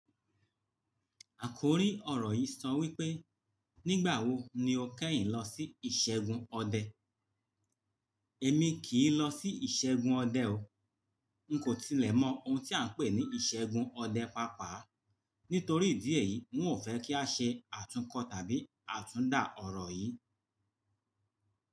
Àkòrí ọ̀rọ̀ yìí sọ wípé "Nígbà wo ni o kẹ́yìn lọ sí ìṣẹ́gun ọdẹ?" Èmi kì í lọ sí ìṣẹ́gun ọdẹ o. N kò tilẹ̀ mọ ohun tí a ń pè ní ìṣẹ́gun ọdẹ pàápàá. Nítorí ìdí èyí, n ò fẹ́ kí a ṣe àtúnkọ̀ tàbí àtúndà ọ̀rọ̀ yìí.